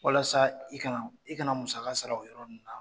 Walasa i kana i kana musaka sara o yɔrɔ ninnu na.